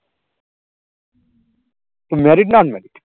married না unmarried?